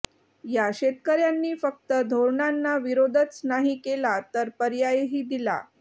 या शेतकऱ्यांनी फक्त धोरणांना विरोधच नाही केला तर पर्यायही दिला